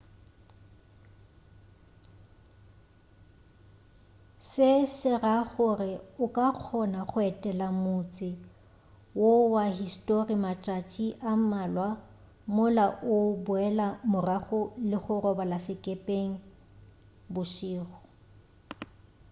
se se ra gore o ka kgona go etela motse wo wa histori matšatši a mmalwa mola o boela morago le go robala sekepeng bošego